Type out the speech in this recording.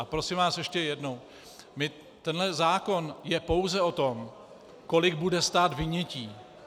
A prosím vás, ještě jednou: Tenhle zákon je pouze o tom, kolik bude stát vynětí.